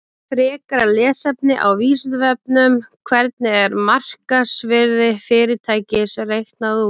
Frekara lesefni á Vísindavefnum: Hvernig er markaðsvirði fyrirtækis reiknað út?